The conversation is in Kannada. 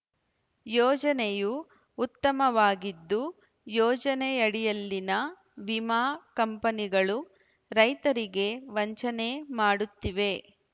ಯೋಜನೆಯು ಉತ್ತಮವಾಗಿದ್ದು ಯೋಜನೆಯಡಿಯಲ್ಲಿನ ವಿಮಾ ಕಂಪನಿಗಳು ರೈತರಿಗೆ ವಂಚನೆ ಮಾಡುತ್ತಿವೆ